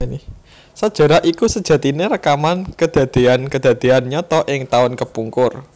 Sajarah iku sejatine rekaman kedadéan kedadéan nyata ing taun kepungkur